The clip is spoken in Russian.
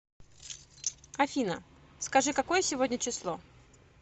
афина скажи какое сегодня число